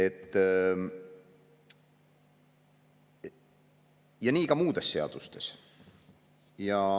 Nii on ka muude seadustega.